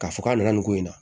K'a fɔ k'a nana nin ko in na